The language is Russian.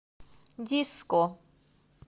диско